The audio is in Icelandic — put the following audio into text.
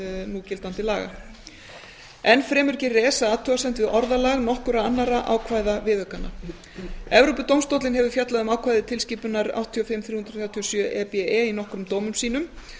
núgildandi laga enn fremur gerir esa athugasemd við orðalag nokkurra annarra ákvæða viðaukanna evrópudómstóllinn hefur fjallað um ákvæði tilskipunar áttatíu og fimm þrjú hundruð þrjátíu og sjö e b e í nokkrum dómum sínum